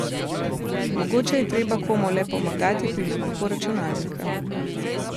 Mogoče je treba komu le pomagati pri nakupu računalnika.